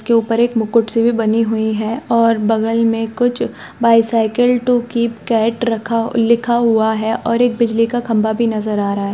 उसके ऊपर एक मुकुट सी भी बनी हुई है और बगल में कुछ बाइसाइकिल टू कीप कैट रखा लिखा हुआ है और एक बिजली का खंभा भी नजर आ रहा है।